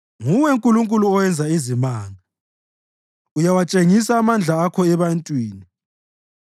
Nguwe Nkulunkulu owenza izimanga; uyawatshengisa amandla akho ebantwini.